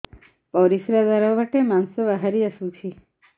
ପରିଶ୍ରା ଦ୍ୱାର ବାଟେ ମାଂସ ବାହାରି ଆସୁଛି